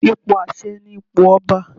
Ipò àṣẹ ni ipò ọba.